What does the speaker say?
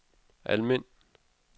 Almind